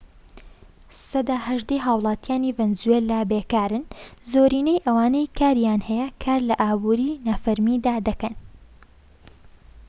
سەدا هەژدەی هاوڵاتیانی ڤەنزوێلا بێکارن زۆرینەی ئەوانەی کاریان هەیە کار لە ئابوری نافەرمیدا دەکەن